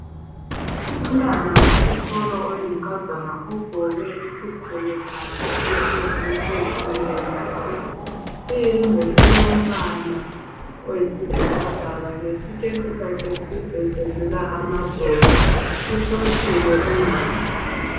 Umntwana wesikolo oyinkazana ugqoke isigqoko sakhe esihle esezifundweni lakhe. Iyembe ilomba oyisibhakabhaka lesiketi sakhe side sedlula amadolo uhlohlile unana.